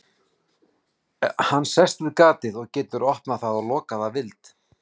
Hann sest við gatið og getur opnað það og lokað að vild.